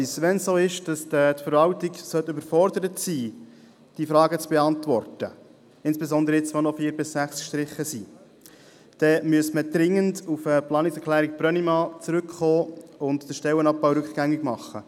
Sollte es so sein, dass die Verwaltung mit der Beantwortung der Fragen überfordert ist, insbesondere jetzt, nachdem die Punkte 4–6 gestrichen worden sind, müsste man dringend auf die Planungserklärung Brönnimann zurückkommen und den Stellenabbau rückgängig machen.